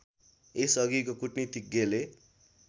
यस अघि कूटनीतिज्ञले